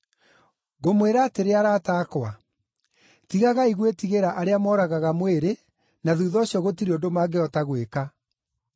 “Ngũmwĩra atĩrĩ arata akwa, tigagai gwĩtigĩra arĩa mooragaga mwĩrĩ na thuutha ũcio gũtirĩ ũndũ mangĩhota gwĩka.